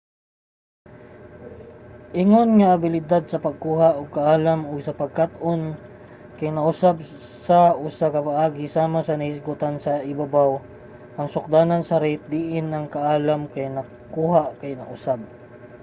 ingon nga ang abilidad sa pagkuha og kaalam ug sa pagkat-on kay nausab sa usa ka paagi sama sa nahisgutan sa ibabaw ang sukdanan sa rate diin ang kaalam kay nakuha kay nausab